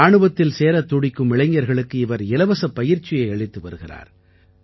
இராணுவத்தில் சேரத் துடிக்கும் இளைஞர்களுக்கு இவர் இலவசப் பயிற்சியை அளித்து வருகிறார்